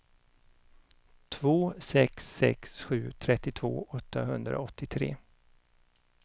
två sex sex sju trettiotvå åttahundraåttiotre